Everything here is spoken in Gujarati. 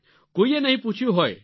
કોઈએ નહીં પૂછ્યું હોય